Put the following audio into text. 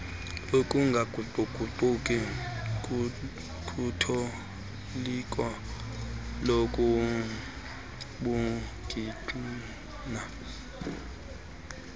ukungaguquguquki kutoliko lobungqina